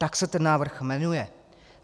Tak se ten návrh jmenuje.